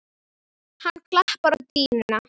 Hann klappar á dýnuna.